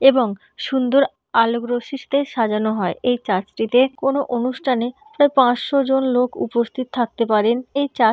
এবং সুন্দর আলোক রশ্মি দিয়ে সাজানো হয় এই চার্চ টিতে কোনো অনুষ্ঠানে প্রায় পাঁচশো জন লোক উপস্থিত থাকতে পারেন এই চার্চ টি--